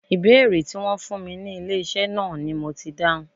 Ìbéèrè Tí wón fún mi ní ilé iṣẹ́ náà ni mo ti dáhùn.